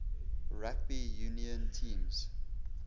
rugby union teams